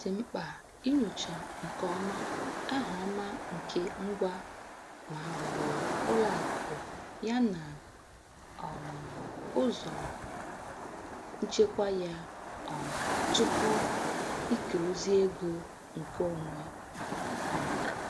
Ọ dị mkpa inyocha nke ọma aha ọma nke ngwa ma ọ bụ ụlọ akụ ya na um ụzọ nchekwa ya um tupu ike ozi ego nke onwe. um